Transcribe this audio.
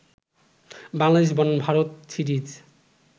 বাংলাদেশ বনাম ভারত সিরিজ